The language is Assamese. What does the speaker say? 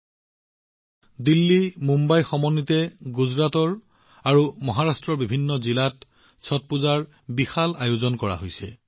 ছট এতিয়া দিল্লী মুম্বাই আৰু গুজৰাটৰ বহু প্ৰান্তৰ সৈতে মহাৰাষ্ট্ৰৰ বিভিন্ন জিলাতো বৃহৎ পৰিমাণে আয়োজন কৰা হৈছে